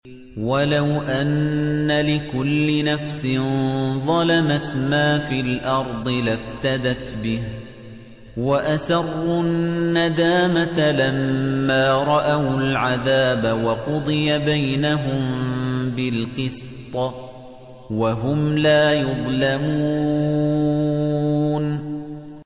وَلَوْ أَنَّ لِكُلِّ نَفْسٍ ظَلَمَتْ مَا فِي الْأَرْضِ لَافْتَدَتْ بِهِ ۗ وَأَسَرُّوا النَّدَامَةَ لَمَّا رَأَوُا الْعَذَابَ ۖ وَقُضِيَ بَيْنَهُم بِالْقِسْطِ ۚ وَهُمْ لَا يُظْلَمُونَ